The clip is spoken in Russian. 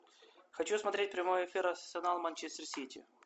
хочу смотреть прямой эфир арсенал манчестер сити